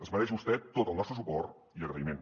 es mereix vostè tot el nostre suport i agraïment